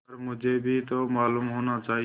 पर मुझे भी तो मालूम होना चाहिए